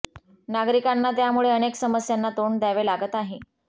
नागरिकांना त्यामुळे अनेक समस्यांना तोंड दयावे लागत आहे